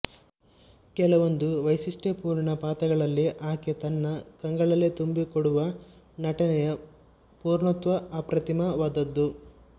ಕೆಲವೊಂದು ವೈಶಿಷ್ಟ್ಯಪೂರ್ಣ ಪಾತ್ರಗಳಲ್ಲಿ ಆಕೆ ತನ್ನ ಕಂಗಳಲ್ಲೇ ತುಂಬಿ ಕೊಡುವ ನಟನೆಯ ಪೂರ್ಣತ್ವ ಅಪ್ರತಿಮವಾದದ್ದು